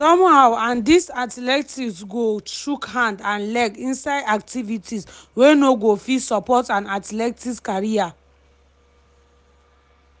somehow and dis athlete go chook hand and leg inside activities wey no go fit support an athletics career."